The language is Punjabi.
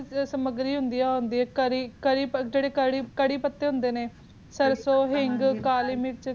ਦੀ ਜਾਰੀ ਮਸਲੀ ਦੀ ਸਮਗਰੀ ਹੁਣ ਦੀ ਆ ਬਕਰ ਕਰੀ ਕਰਿਪਾਤਾ ਹੁਣ ਦੇ ਨੇ ਸਰ੍ਸੂਨ ਹਿੰਗ